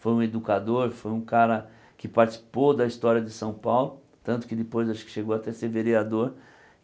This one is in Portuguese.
Foi um educador, foi um cara que participou da história de São Paulo, tanto que depois acho que chegou até a ser vereador.